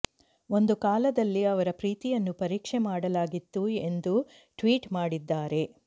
ಒಂದು ಕಾಲದಲ್ಲಿ ಅವರ ಪ್ರೀತಿಯನ್ನು ಪರೀಕ್ಷೆ ಮಾಡಲಾಗಿತ್ತು ಎಂದು ಟ್ವೀಟ್ ಮಾಡಿದ್ದಾರೆ